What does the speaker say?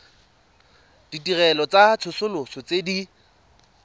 ditirelo tsa tsosoloso tse di